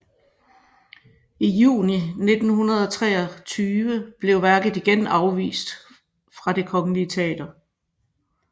I juni 1923 blev værket igen afvist fra Det kongelige Teater